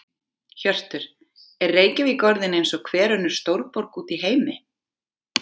Hjörtur: Er Reykjavík orðin eins og hver önnur stórborg út í heimi?